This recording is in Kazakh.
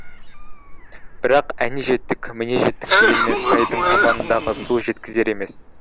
бірақ әне жеттік міне жеттік дегенмен сайдың табанындағы су жеткізер емес